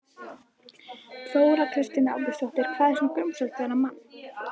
Þóra Kristín Ásgeirsdóttir: Hvað var svona grunsamlegt við þennan mann?